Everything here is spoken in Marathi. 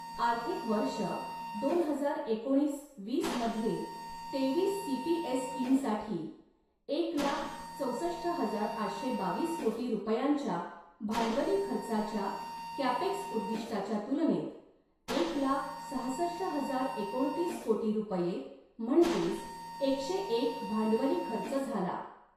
आर्थिक वर्ष दोन हजार एकोणीस वीस मध्ये तेवीस सीपीएसईंसाठी एक लाख चौसष्ट हजार आठशे बावीस कोटी रुपयांच्या भांडवली खर्चाच्या कॅपेक्स उद्दिष्टाच्या तुलनेत एक लाख सहासष्ट हजार एकोणतीस कोटी रुपये म्हणजेच एकशे एक भांडवली खर्च झाला.